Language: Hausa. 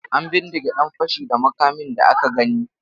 An bindige ɗan fashi da makamin da aka gani.